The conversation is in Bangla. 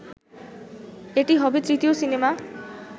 এটি হবে তৃতীয় সিনেমা